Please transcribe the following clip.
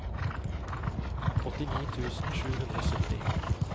åttini tusen sju hundre og sytti